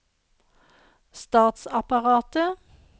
statsapparatet